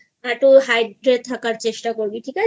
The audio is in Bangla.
একটু Hydrate থাকার চেষ্টা করবি ঠিক আছে